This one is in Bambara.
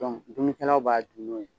Dɔnku dumunikɛlaw b'a dun n'o ye.